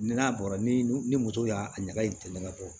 N'a bɔra ni ni moto y'a ɲaga in tɛ mɛn ka bɔ